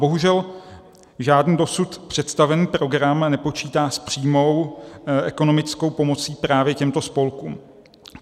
Bohužel žádný dosud představený program nepočítá s přímou ekonomickou pomocí právě těmto spolkům.